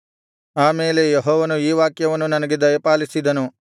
ಆಮೇಲೆ ಯೆಹೋವನು ಈ ವಾಕ್ಯವನ್ನು ನನಗೆ ದಯಪಾಲಿಸಿದನು